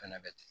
Fana bɛ ten